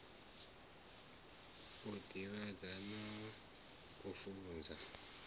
u divhadza na u funza